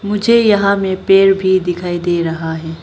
मुझे यहां में पेड़ भी दिखाई दे रहा है।